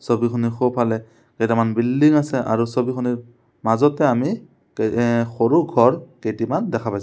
ছবিখনৰ সোঁ ফালে কেটামান বিল্ডিং আছে আৰু ছবিখনৰ মাজতে আমি এ সৰু ঘৰ কেইটিমান দেখা পাইছোঁ।